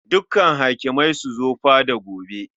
Dukkan hakimai su zo fada gobe.